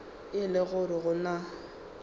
e le gore go na